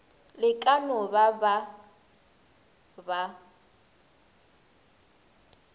le ka no ba ba